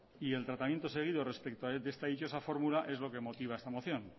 y el tratamiento seguido respecto a esta dichosa fórmula es lo que motiva esta moción